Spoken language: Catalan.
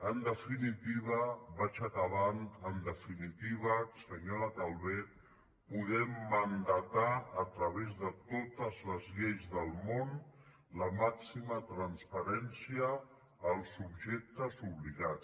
en definitiva vaig acabant senyora calvet podem mandatar a través de totes les lleis del món la màxima transparència als subjectes obligats